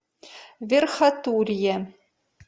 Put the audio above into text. верхотурье